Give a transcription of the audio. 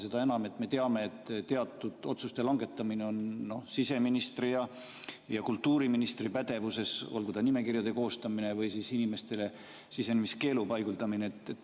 Seda enam, et me teame, et teatud otsuste langetamine on siseministri ja kultuuriministri pädevuses, olgu ta nimekirjade koostamine või inimestele sisenemiskeelu.